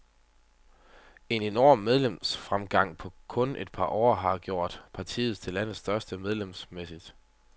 En enorm medlemsfremgang på kun et par år har gjort partiet til landets største medlemsmæssigt.